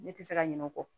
Ne tɛ se ka ɲinɛ o kɔ